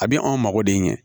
A bɛ anw mago de ɲɛ